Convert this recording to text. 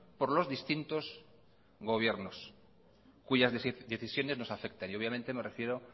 por los distintos gobiernos cuyas decisiones nos afectan y obviamente me refiero